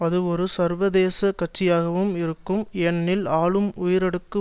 அது ஒரு சர்வதேசக் கட்சியாகவும் இருக்கும் ஏனெனில் ஆளும் உயரடுக்கு